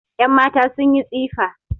Yanmata sun yi tsifa